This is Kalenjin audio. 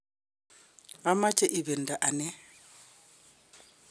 ameche ibidto ane